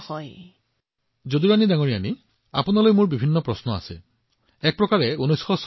প্ৰধানমন্ত্ৰীঃ যদুৰাণী জী আপোনাৰ বাবে মোৰ এক ভিন্ন ধৰণৰ প্ৰশ্ন আছে